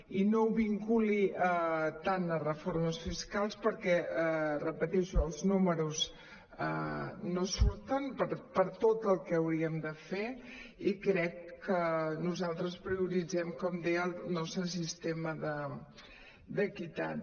i no ho vinculi tant a reformes fiscals perquè ho repeteixo els números no surten per tot el que hauríem de fer i crec que nosal·tres prioritzem com deia el nostre sistema d’equitat